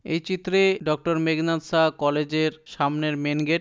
এই চিত্রে ডাক্তার মেঘনাদ সাহা কলেজের সামনের মেন গেট ।